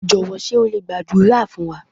Jọ̀wọ́ ṣé o lè gbàdúrà fún wa?